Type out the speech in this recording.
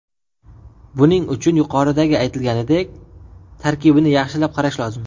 Buning uchun, yuqoridagi aytilganidek, tarkibini yaxshilab qarash lozim.